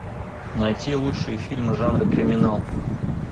найти лучшие фильмы жанра криминал